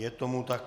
Je tomu tak.